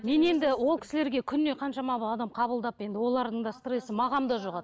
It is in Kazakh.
мен енді ол кісілерге күніне қаншама адам қабылдап енді олардың да стрессі маған да жұғады